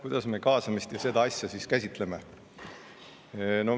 Kuidas me kaasamist ja seda asja siis käsitleme?